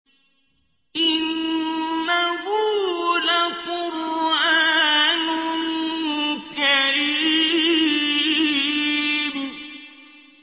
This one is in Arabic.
إِنَّهُ لَقُرْآنٌ كَرِيمٌ